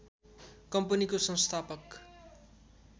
कम्पनीको संस्थापक